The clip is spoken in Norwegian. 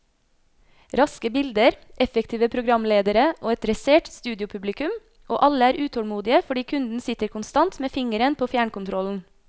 Raske bilder, effektive programledere og et dressert studiopublikum, og alle er utålmodige fordi kunden sitter konstant med fingeren på fjernkontrollen.